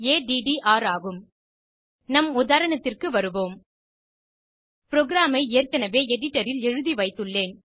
attr ஆகும் நம் உதாரணத்திற்கு வருவோம் புரோகிராம் ஐ ஏற்கனவே எடிட்டர் ல் எழுதி வைத்துள்ளேன்